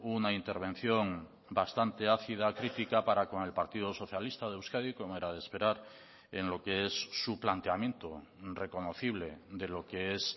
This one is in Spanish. una intervención bastante ácida crítica para con el partido socialista de euskadi como era de esperar en lo que es su planteamiento reconocible de lo que es